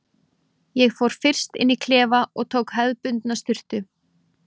Ég fór fyrst inn í klefa og tók hefðbundna sturtu.